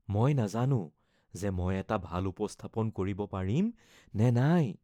মই নাজানো যে মই এটা ভাল উপস্থাপন কৰিব পাৰিম নে নাই